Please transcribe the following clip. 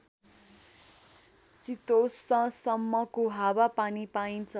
शितोष्णसम्मको हावापानी पाइन्छ